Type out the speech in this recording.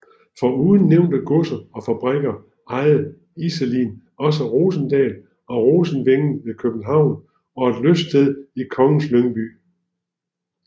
Foruden nævnte godser og fabrikker ejede Iselin også Rosendal og Rosenvænget ved København og et lyststed i Kongens Lyngby